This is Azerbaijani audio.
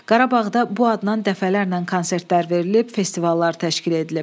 Qarabağda bu adnan dəfələrlə konsertlər verilib, festivallar təşkil edilib.